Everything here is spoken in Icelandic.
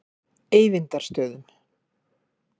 Eyvindarstöðum